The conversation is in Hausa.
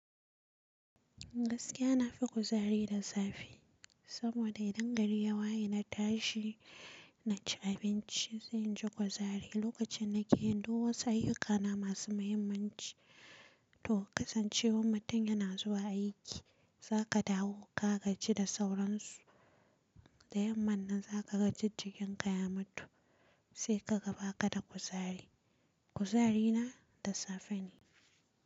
Gaskiya na fi kuzari da safe. Saboda idan gari ya waye na tashi, na ci abinci sai in ji kuzari lokacin da nake yin duk wasu ayyukana masu muhimmanci. To kasancewar mutum yana zuwa aiki, za ka dawo ka gaji da sauransu. Da yamman nan za ka ga jij jikin ka ya matu sai kaga ba ka da kuzari. Kuzari na da safe ne.